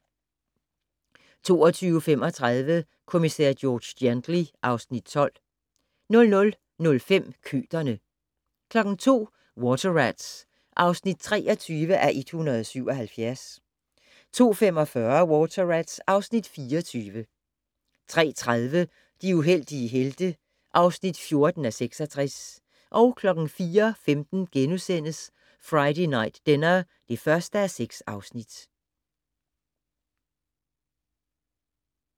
22:35: Kommissær George Gently (Afs. 12) 00:05: Køterne 02:00: Water Rats (23:177) 02:45: Water Rats (24:177) 03:30: De heldige helte (14:66) 04:15: Friday Night Dinner (1:6)*